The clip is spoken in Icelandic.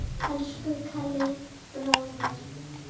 Elsku Kalli bróðir.